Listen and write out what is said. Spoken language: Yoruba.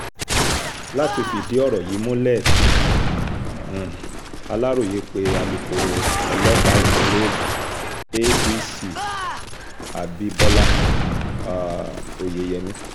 láti fìdí ọ̀rọ̀ yìí múlẹ̀ um aláròye pé alūkkóró ọlọ́pàá ìpínlẹ̀ ogun adc abibọlá um oyeyèmí